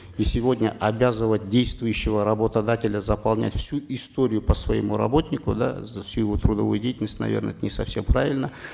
и сегодня обязывать действующего работодателя заполнять всю историю по своему работнику да за всю его трудовую деятельность наверно это не совсем правильно